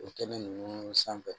O kɛnɛ ninnu sanfɛ